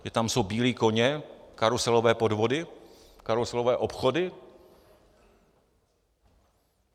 Že tam jsou bílí koně, karuselové podvody, karuselové obchody?